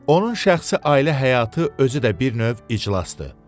Onun şəxsi ailə həyatı özü də bir növ iclasdır.